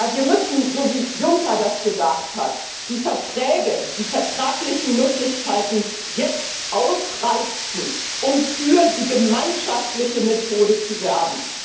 Wir müssen, so wie Juncker gesagt hat, die Verträge, die vertraglichen Möglichkeiten jetzt ausreizen, um für die gemeinschaftliche Methode zu werben.